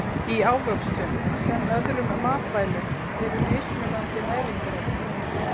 Í ávöxtum sem öðrum matvælum eru mismunandi næringarefni.